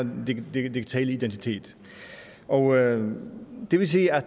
digitale identitet og det vil sige at